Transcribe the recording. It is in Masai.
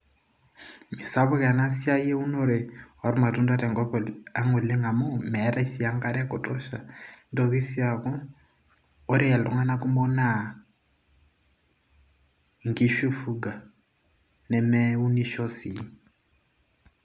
misapuk ena siai eunore ormatunda tenkop ang oleng amu meetay sii enkare e kutosha nitoki sii aaku ore iltung'anak kumok naa inkishu ifuga nemeunisho sii.